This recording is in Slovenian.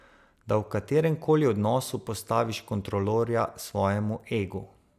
Da v katerem koli odnosu postaviš kontrolorja svojemu egu.